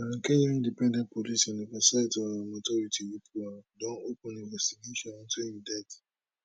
um kenya independent policing oversight um authority ipoa don open investigation into im death